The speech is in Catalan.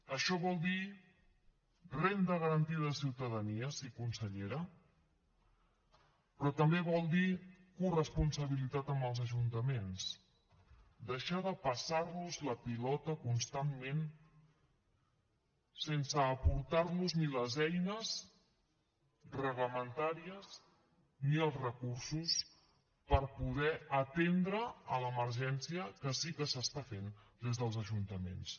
això vol dir renda garantida de ciutadania sí consellera però també vol dir corresponsabilitat amb els ajuntaments deixar de passar los la pilota constantment sense aportar los ni les eines reglamentàries ni els recursos per poder atendre l’emergència que sí que s’està fent des dels ajuntaments